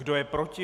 Kdo je proti?